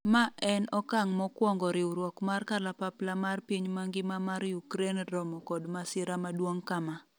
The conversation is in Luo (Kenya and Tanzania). ma en okang' mokwongo riwruok mar kalapapla mar piny mangima mar Ukraine romo kod masira maduong' kama